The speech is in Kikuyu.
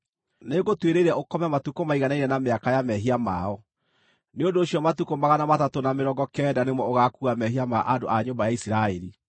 Nĩngũtuĩrĩire ũkome matukũ maiganaine na mĩaka ya mehia mao. Nĩ ũndũ ũcio matukũ magana matatũ na mĩrongo kenda nĩmo ũgaakuua mehia ma andũ a nyũmba ya Isiraeli.